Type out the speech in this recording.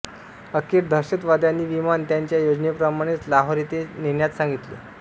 अखेर दहशतवाद्यांनी विमान त्यांच्या योजनेप्रमाणेच लाहोर येथे नेण्यात सांगितले